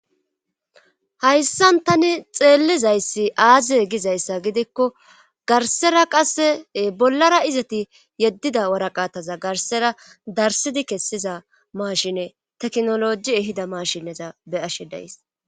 hayssan tani xeellizayssi aaziye gizayssa gidikko garsera qasse bollara izati yeddida waraqataza garsera darsidi kessiza maashine teknoloji ehida mashineza be ashe days